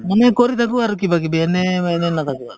মানে কৰি থাকো আৰু কিবাকিবি এনে নাথাকো আৰু